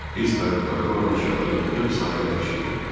Biz kayutlarda olan əşyaları yığıb sahilə daşıyırıq.